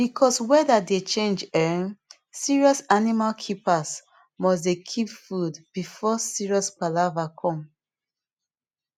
because weather dey change um serious animal keepers must dey keep food before serious palava come